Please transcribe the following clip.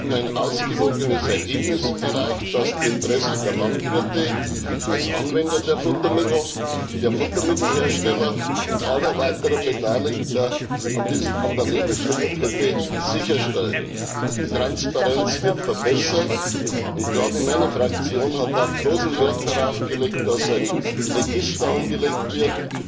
Wir haben ein ausgewogenes Ergebnis erreicht, das die Interessen der Landwirte als Anwender der Futtermittel, der Futtermittelhersteller und aller weiteren Beteiligten an der Lebensmittelkette sicherstellt. Die Transparenz wird verbessert, und gerade meine Fraktion hat auch großen Wert darauf gelegt, dass ein Register angelegt wird,